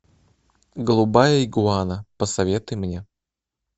голубая игуана посоветуй мне